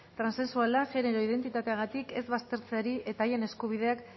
transexualak genero identitateagatik ez baztertzeari eta haien eskubideak